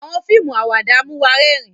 Awọn fíìmù Àwàdà mú wá rẹrin